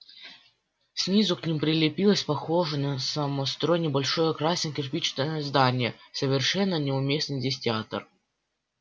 снизу к ним прилепилось похожее на самострой небольшое красное кирпичное здание совершенно неуместный здесь театр